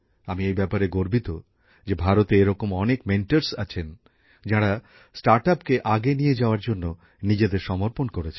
আমি এই ব্যাপারে গর্বিত যে ভারতে এরকম অনেক মেন্টর আছেন যাঁরা স্টার্টআপকে আগে নিয়ে যাওয়ার জন্য নিজেদের সমর্পণ করেছেন